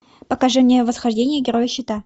покажи мне восхождение героя щита